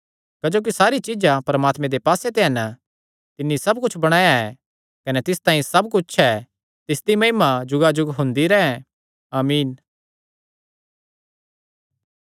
क्जोकि सारी चीज्जां परमात्मे दे पास्से ते हन तिन्नी सब कुच्छ बणाया ऐ कने तिस तांई सब कुच्छ ऐ तिसदी महिमा जुगाजुग हुंदी रैंह् आमीन